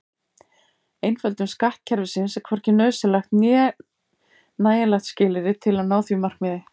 Einföldun skattkerfisins er hvorki nauðsynlegt né nægjanlegt skilyrði til að ná því markmiði.